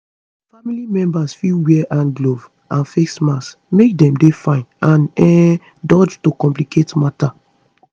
family members fit wear hand gloves and face mask make dem dey fine and um dodge to complicate matter